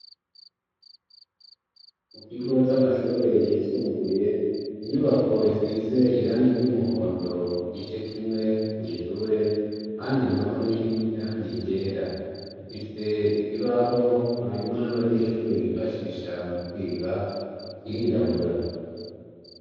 Mu kigo c'amashure yisumbuye inyubako isize iranga iry' umuhondo kigice kimwe mw'ishure handi na ho ni iranga iryera ifise ikibaho marimo n'abanyeshure bifashisha mu kwiga kirirabura.